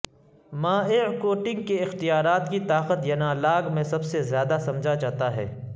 مائع کوٹنگ کے اختیارات کی طاقت ینالاگ میں سب سے زیادہ سمجھا جاتا ہے